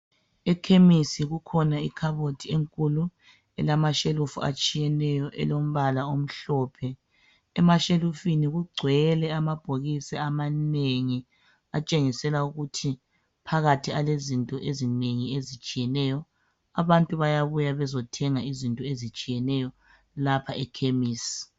Ekhemisi kukhona ikhabothi enkulu elamashelufu atshiyeneyo elombala omhlophe. Emashelufini kugcwele amabhokisi amanengi atshengisela ukuthi phakathi alezinto ezinengi ezitshiyeneyo. Abantu bayabuya bezothenga izinto ezitshiyeneyo lapha ekhemisi.